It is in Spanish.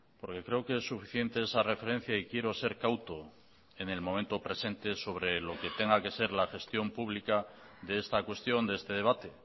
porque creo que es suficiente esa referencia y quiero ser cauto en el momento presente sobre lo que tenga que ser la gestión pública de esta cuestión de este debate